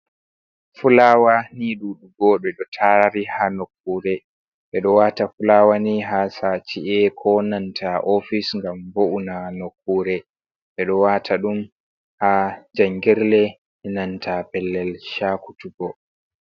Fulawa ni ɗuɗugo ɗe ɗo tari ha nokkure. Ɓeɗo wata fulawa ni ha ci’e, ko nanta offis ngam vo'ina nokkure. ɓeɗo wata ɗum ha jangirle, nanta pellel shakutukko.